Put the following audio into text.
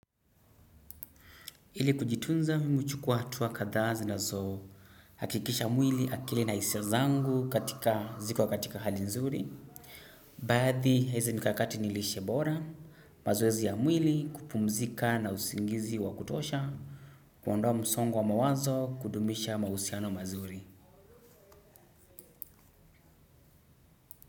Ili kujitunza mimi huchukua hatua kadhaa zinazohakikisha mwili, akili na hisia zangu katika ziko katika hali nzuri. Baadhi ya hizi mikakati ni lishe bora, mazoezi ya mwili, kupumzika na usingizi wa kutosha, kuondoa msongo wa mawazo, kudumisha mahusiano mazuri.